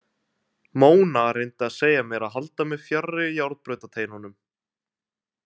Mona reyndi að segja mér að halda mig fjarri járnbrautateinunum.